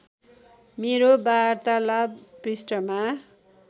मेरो वार्तालाप पृष्ठमा